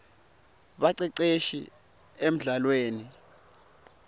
baceceshi emldlalweni